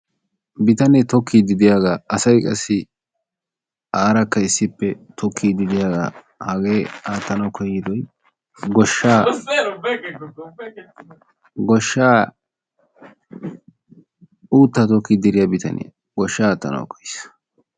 Bitanee tokkide de'iyaaga asay qassi ubbaykka tokkide de'iyaaga hagee aattanaw koyyidoy uutta tokkide de'iyaa bitaniyaa goshsha aatanaw koyiis.